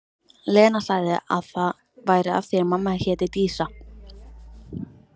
Lena sagði að það væri af því mamma héti Dísa.